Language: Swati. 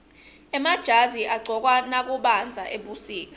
emajazi agcokwa nakubandza ebusika